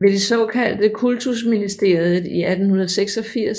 Ved det såkaldte Kultusministeriet i 1886